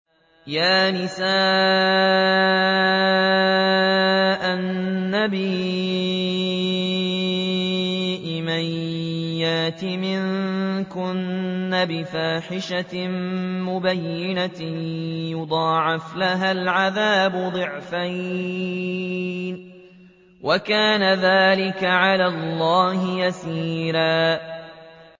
يَا نِسَاءَ النَّبِيِّ مَن يَأْتِ مِنكُنَّ بِفَاحِشَةٍ مُّبَيِّنَةٍ يُضَاعَفْ لَهَا الْعَذَابُ ضِعْفَيْنِ ۚ وَكَانَ ذَٰلِكَ عَلَى اللَّهِ يَسِيرًا